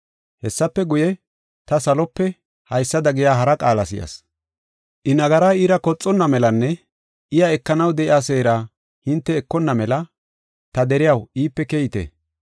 Hessafe guye, ta salope haysada giya hara qaala si7as. “I nagaraa iira koxonna melanne, iya ekanaw de7iya seera hinte ekonna mela, ta deriyaw iipe keyite.